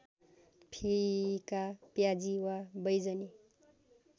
फिका प्याजी वा बैजनी